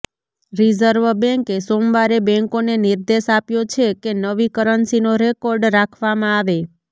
reserve બેંકે સોમવારે બેંકોને નિર્દેશ આપ્યો છે કે નવી કરન્સીનો રેકોર્ડ રાખવામાં આવે